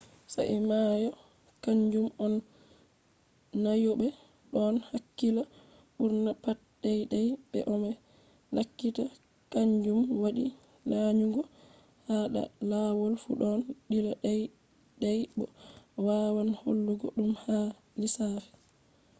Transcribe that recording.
sa'a mai kanjum on lanyoɓe ɗon hakkila ɓurna pat dey-dey ɓe no be lakyata; kaanjum waɗi lanyugo ha da lawol fu ɗon dilla dey-dey bo a wawan hollugo ɗum ha lissafi